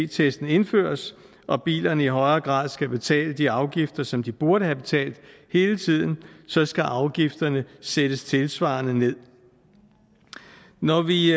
testen indføres og bilerne i højere grad skal betale de afgifter som de burde have betalt hele tiden så skal afgifterne sættes tilsvarende nederst når vi